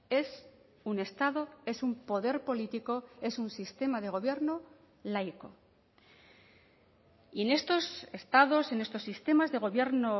es un estado es un poder político es un sistema de gobierno laico y en estos estados en estos sistemas de gobierno